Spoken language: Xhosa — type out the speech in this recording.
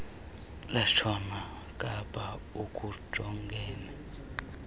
lwentshona kapa olujongene